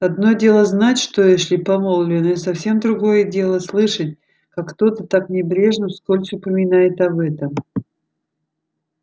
одно дело знать что эшли помолвлен и совсем другое дело слышать как кто-то так небрежно вскользь упоминает об этом